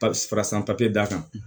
Parasi san papiye d'a kan